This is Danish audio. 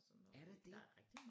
Er der det